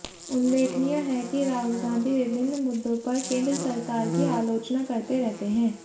उल्लेखनीय है कि राहुल गांधी विभिन्न मुद्दों पर केंद्र सरकार की आलोचना करते रहते हैं